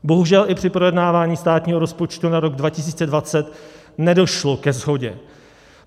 Bohužel i při projednávání státního rozpočtu na rok 2020 nedošlo ke shodě.